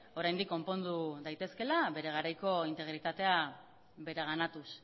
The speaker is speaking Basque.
oraindik konpondu daitezkeela bere garaiko integritatea bereganatuz